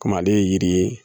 Kɔmi ale ye yiri ye